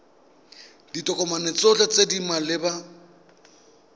ditokomane tsotlhe tse di maleba